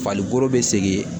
Falikoro be segin